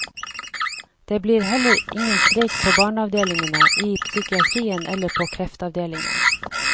Det blir heller ingen streik på barneavdelingene, i psykiatrien eller på kreftavdelingen.